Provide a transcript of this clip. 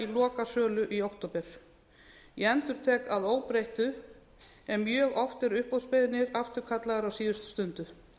í lokasölu í október ég endurtek að óbreyttu e mjög oft eru uppboðsbeiðnir afturkallaðar á síðustu stundu